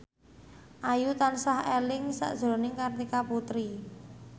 Ayu tansah eling sakjroning Kartika Putri